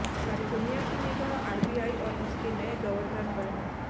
सारी दुनिया की निगाह आरबीआई और उसके नए गवर्नर पर है